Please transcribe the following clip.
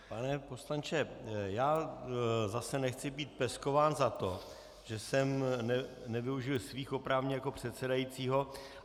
Pane poslanče, já zase nechci být peskován za to, že jsem nevyužil svých oprávnění jako předsedajícího.